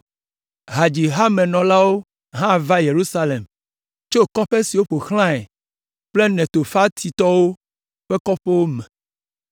Hadzihamenɔlawo hã va Yerusalem tso kɔƒe siwo ƒo xlãe kple Netofatitɔwo ƒe kɔƒewo me